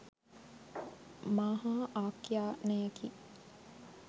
මාහා ආඛ්‍යානයකි.